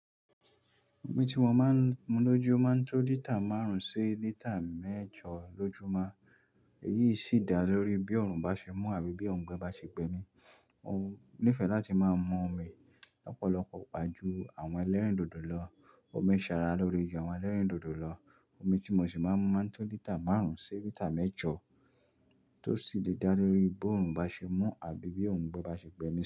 Omi tí mo máa ń mu lójú máa ń tó lítà márùn-ún sí lítà mẹ́jọ lójúmọ́. Èyí sì dá lórí bí ọrùn bá ṣe mú àbí bí ọ̀ngbe bá ṣe gbẹ mí. Mo nífẹ̀ẹ́ láti máa ń mu omi lọ́pọ̀lọpọ̀, pàjù àwọn ẹlẹ́rìndòdò lọ. Omi ń ṣara lóre jù àwọn ẹlẹ́rìndòdò lọ. Omi tí mo sì máa ń mu máa ń tó lítà márùn-ún sí lítà mẹ́jọ tó sì lè dá lórí bó ọrùn bá ṣe mú àbí bí ọ̀ngbe bá ṣe gbé mí sí.